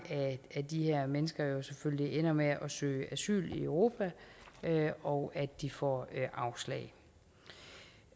af de her mennesker jo selvfølgelig ender med at søge asyl i europa og at de får afslag